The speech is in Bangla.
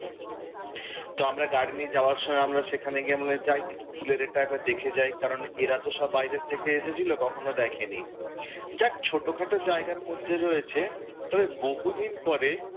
তো আমরা গাড়ি নিয়ে যাওয়ার সময় আমরা সেখানে গিয়ে আমি বললাম যাই দেখি ফুলের এটা একবার দেখে যাই, কারণ এরা তো সব বাইরের থেকে এসেছিলো কখনও দেখেনি। যাক ছোট খাট জায়গার মধ্যে রয়েছে। তবে বহুদিন পরে,